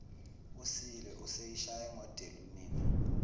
usile useyishaye ngodelunina